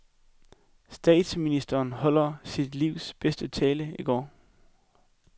Statsministeren holdt sit livs bedste tale i går.